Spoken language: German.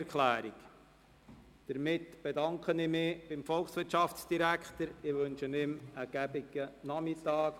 Hiermit bedanke ich mich beim Volkswirtschaftsdirektor und wünsche ihm einen schönen Nachmittag.